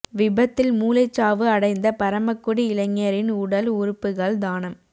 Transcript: விபத்தில் மூளைச் சாவு அடைந்த பரமக்குடி இளைஞரின் உடல் உறுப்புகள் தானம்